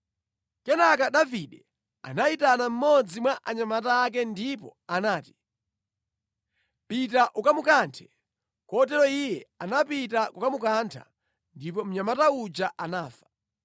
Kenaka Davide anayitana mmodzi mwa anyamata ake ndipo anati, “Pita ukamukanthe!” Kotero iye anapita kukamukantha, ndipo mnyamata uja anafa.